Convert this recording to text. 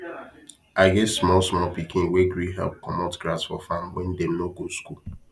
i get some small small pikin wey gree help commot grass for farm when dem no go school